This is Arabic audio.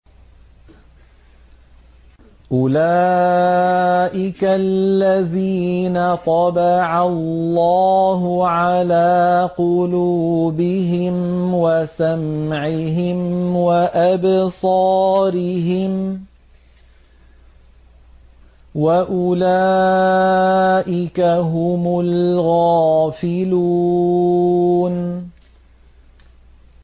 أُولَٰئِكَ الَّذِينَ طَبَعَ اللَّهُ عَلَىٰ قُلُوبِهِمْ وَسَمْعِهِمْ وَأَبْصَارِهِمْ ۖ وَأُولَٰئِكَ هُمُ الْغَافِلُونَ